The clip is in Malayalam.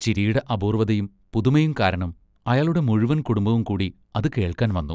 ചിരിയുടെ അപൂർവ്വതയും പുതുമയും കാരണം അയാളുടെ മുഴുവൻ കുടുംബവുംകൂടി അത് കേൾക്കാൻ വന്നു.